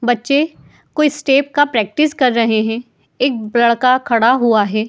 बच्चे कोई स्टेप का प्रैक्टिस कर रहे हैं। एक लड़का खड़ा हुआ है।